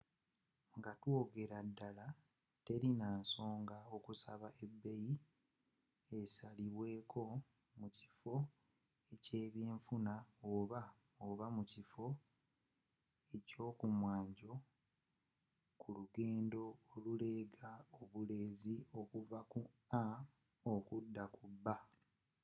nga twogeleraddala tewali nansonga mukusaba ebeeyi esalibweeko mukiffo eky'ebyenfuna oba oba mukiffo ky'okumwanjo kulugendo oluleega obuleezi okuva ku a okuda ku b